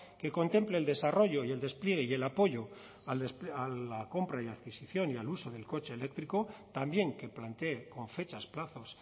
que contemple el desarrollo y el despliegue y el apoyo a la compra y adquisición y al uso del coche eléctrico también que plantee con fechas plazos